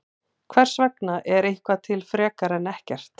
Hvers vegna er eitthvað til frekar en ekkert?